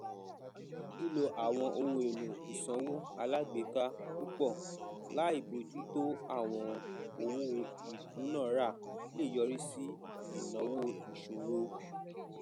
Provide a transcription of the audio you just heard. lílo àwọn ohun èlò ìsanwó alágbèéká púpọ láì bọjú tó àwọn owó ìdúnàrà lè yọrí sí ináwó ìṣòro